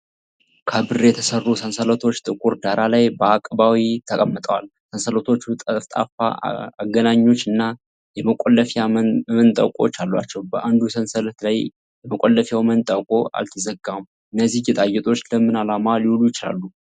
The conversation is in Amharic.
ከብር የተሠሩ ሰንሰለቶች ጥቁር ዳራ ላይ በአቀባዊ ተቀምጠዋል። ሰንሰለቶቹ ጠፍጣፋ አገናኞች እና የመቆለፊያ መንጠቆዎች አሏቸው። በአንዱ ሰንሰለት ላይ የመቆለፊያው መንጠቆ አልተዘጋም። እነዚህ ጌጣጌጦች ለምን ዓላማ ሊውሉ ይችላሉ?